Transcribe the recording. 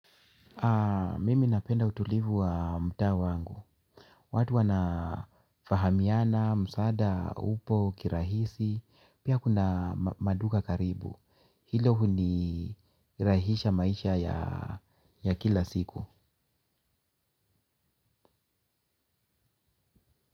Mimi napenda utulivu wa mutaa wangu. Watu wanafahamiana, msaada, upo, kirahisi. Pia kuna maduka karibu. Hilo huni rahisha maisha ya kila siku.